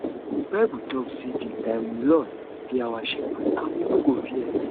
the bible talk say the um lord be our shepherd and we no go fear